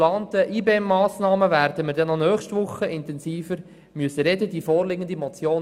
Über die IBEM-Massnahmen werden wir nächste Woche auch noch intensiver sprechen müssen.